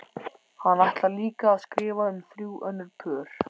Hann ætlar líka að skrifa um þrjú önnur pör.